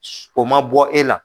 So o ma bɔ e la